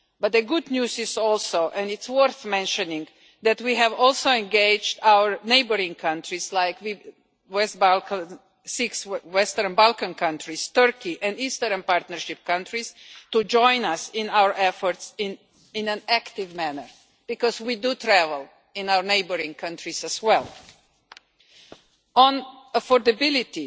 But the good news is and this is worth mentioning that we have also engaged our neighbouring countries, including the six Western Balkan countries, Turkey and the Eastern Partnership countries, to join us in our efforts in an active manner because we travel in our neighbouring countries as well. On affordability,